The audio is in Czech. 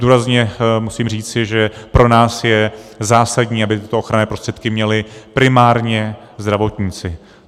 Důrazně musím říci, že pro nás je zásadní, aby tyto ochranné prostředky měli primárně zdravotníci.